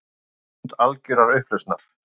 Stund algjörrar upplausnar.